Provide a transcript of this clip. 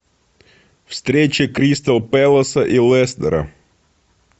встреча кристал пэласа и лестера